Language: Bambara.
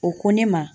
O ko ne ma